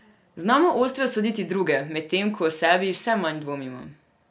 Znamo ostro soditi druge, medtem ko o sebi vse manj dvomimo.